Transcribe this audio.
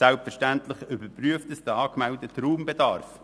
Selbstverständlich überprüft es den angemeldeten Raumbedarf.